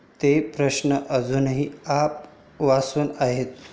ते प्रश्न अजूनही आ वासून आहेत.